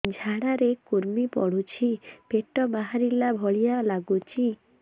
ଝାଡା ରେ କୁର୍ମି ପଡୁଛି ପେଟ ବାହାରିଲା ଭଳିଆ ଲାଗୁଚି